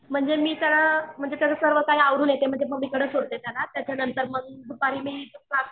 म्हणजे मी त्याला म्हणजे सर्व काही यावरून येते म्हणजे मम्मीकडे सोडते त्याला त्याच्यानंतर मग दुपारी मी जाते.